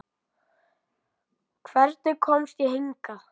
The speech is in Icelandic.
Hvernig komst ég hingað?